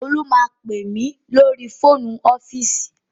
Olú máa pè mí lórí fóònù ọ́fíìsì